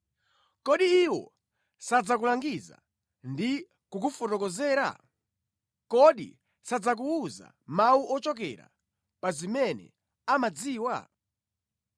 Kodi iwo sadzakulangiza ndi kukufotokozera? Kodi sadzakuwuza mawu ochokera pa zimene amazidziwa?